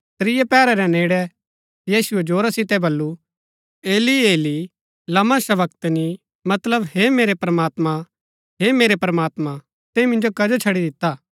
त्रियै पैहरा रै नेड़ै यीशुऐ जोरा सितै बल्लू एली एली लमा शबक्तनी मतलब हे मेरै प्रमात्मां हे मेरै प्रमात्मां तैंई मिन्जो कजो छड़ी दिता